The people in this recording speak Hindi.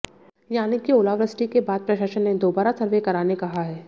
यानी कि ओलावृष्टि के बाद प्रशासन ने दोबारा सर्वे कराने कहा हैं